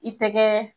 I tɛgɛ